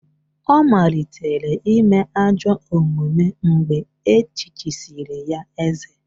Ọ malitere ime ajọ omume mgbe echichisịrị ya eze